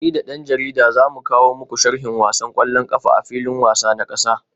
Ni da dan jarida za mu kawo muku sharhin wasan kwallon kafa a filin wasa na kasa